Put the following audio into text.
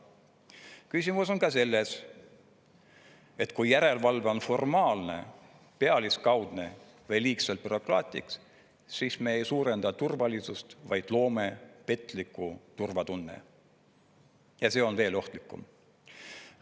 Küsimus on ka selles, et kui järelevalve on formaalne, pealiskaudne või liigselt bürokraatlik, siis me ei suurenda turvalisust, vaid loome petliku turvatunde, ja see on veel ohtlikum.